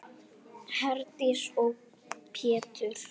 Herdís og Pétur.